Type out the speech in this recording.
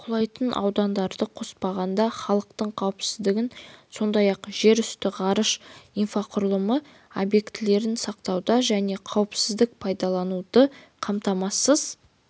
құлайтын аудандарды қоспағанда халықтың қауіпсіздігін сондай-ақ жерүсті ғарыш инфрақұрылымы объектілерін сақтауды және қауіпсіз пайдалануды қамтамасыз